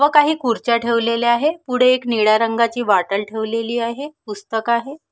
व काही खुर्च्या ठेवलेल्या आहे पुढे एक निळ्या रंगाची बाॅटल ठेवलेली आहे पुस्तक आहे.